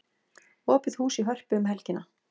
Opið hús í Hörpu um helgina